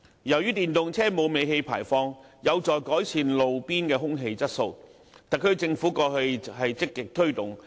由於電動車沒有尾氣排放，有助改善路邊的空氣質素，為特區政府過去積極推動。